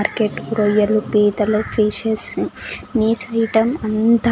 market రొయ్యలు పీతలు fishes నిసి అంతా --